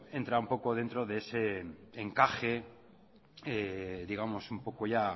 entra un poco dentro de ese encaje digamos un poco ya